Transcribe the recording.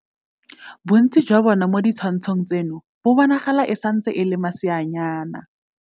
Bontsi jwa bona mo ditshwantshong tseno bo bonagala e santse e le maseanyana.